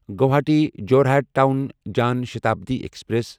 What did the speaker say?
Guwahati Jorhat town Jan Shatabdi express